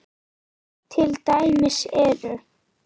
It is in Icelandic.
Til dæmis eru